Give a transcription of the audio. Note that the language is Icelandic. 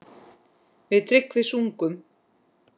Við Tryggvi sungum